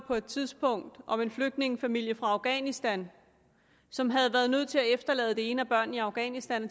på et tidspunkt en om en flygtningefamilie fra afghanistan som havde været nødt til at efterlade det ene barn i afghanistan